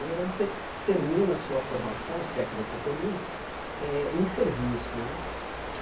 Na verdade, você termina a sua formação, se é que você termina, eh em serviço né.